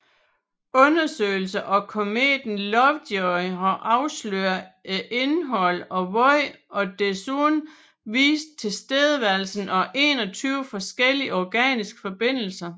Undersøgelser af kometen Lovejoy har afsløret et indhold af vand og desuden vist tilstedeværelsen af 21 forskellige organiske forbindelser